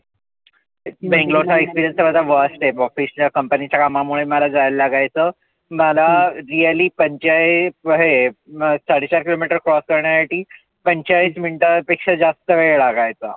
Banglore चा experience worst आहे. professional company च्या कामा मुळे मला जायला लागायचं. मला really पंचेचाळीस हे साडे चार kilo meter cross करण्यासाठी पंचेचाळीस मिनीटां पेक्षा जास्त वेळ लागायचा.